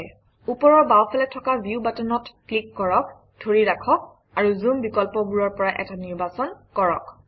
ওপৰৰ বাওঁফালে থকা ভিউ বাটনত ক্লিক কৰক ধৰি ৰাখক আৰু জুম বিকল্পবোৰৰ পৰা এটা নিৰ্বাচন কৰক